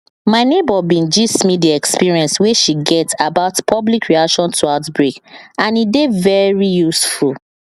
my neighbor bin gist me the experience wey she get about public reaction to outbreak and e dey very useful